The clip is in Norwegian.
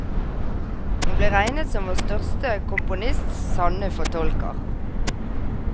Hun ble regnet som vår største komponists sanne fortolker.